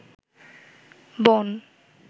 বন